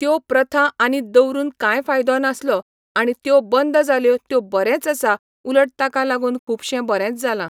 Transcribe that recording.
त्यो प्रथा आनी दवरून कांय फायदो नासलो आणी त्यो बंद जाल्यो त्यो बरेंच आसा उलट ताका लागून खूबशें बरेंच जाला